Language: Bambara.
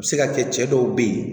A bɛ se ka kɛ cɛ dɔw bɛ ye